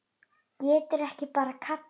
Geturðu ekki bara kallað niður?